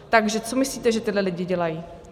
Takže co myslíte, že tihle lidé dělají?